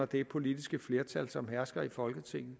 det politiske flertal som hersker i folketinget